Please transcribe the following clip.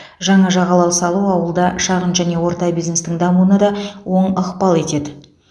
жаңа жағалау салу ауылда шағын және орта бизнестің дамуына да оң ықпал етеді